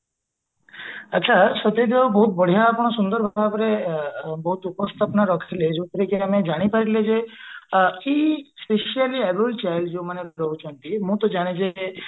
ଆଛା ସତେଜ ବାବୁ ବହୁତ ବଢିଆ ଆପଣ ସୁନ୍ଦର ଭାବରେ both ଉପସ୍ଥାପନା ରଖିଲେ ଯୋଉଥିରେ କି ଆମେ ଜାଣି ପାରିଲେ କି specially abled child ଯୋଉ ମାନେ ରହୁଛନ୍ତି ମୁଁ ଟା ଜେନ ଯେ କି